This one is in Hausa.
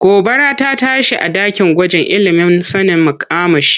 Gobara rta tashi a ɗakin gwajin ilimin sanin makamashi.